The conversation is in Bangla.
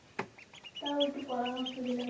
তাও একটু পরামর্শ দিলে ভালো